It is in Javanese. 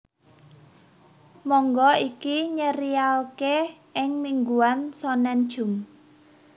Manga iki nyerialke ing mingguan shonen jump